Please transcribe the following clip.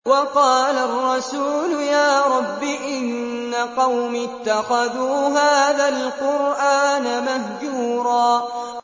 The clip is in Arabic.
وَقَالَ الرَّسُولُ يَا رَبِّ إِنَّ قَوْمِي اتَّخَذُوا هَٰذَا الْقُرْآنَ مَهْجُورًا